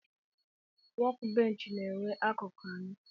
Wọk bench na enwee akụkụ anọ.